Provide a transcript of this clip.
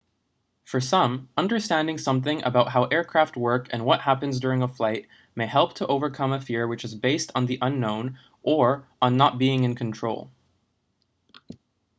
for some understanding something about how aircraft work and what happens during a flight may help to overcome a fear which is based on the unknown or on not being in control